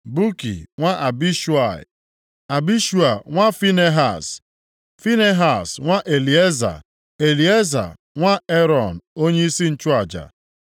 Buki nwa Abishua, Abishua nwa Finehaz; Finehaz nwa Elieza, Elieza nwa Erọn onyeisi nchụaja.